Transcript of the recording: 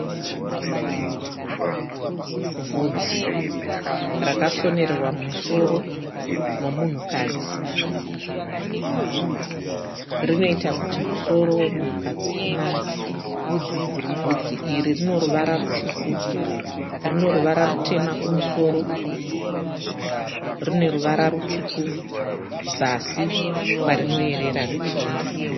Bvudzi rakasonererwa mumusoro memunhukadzi, rinoita musoro wemunhukadzi unake, bvudzi iri rineruvara rineruvara rutsvuku, rineruvara rutema kumusoro, rineruvara rutsvuku zasi kwarinoerera richienda.